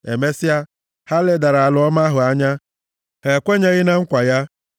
Emesịa, ha ledara ala ọma ahụ anya, ha ekwenyeghị na nkwa ya.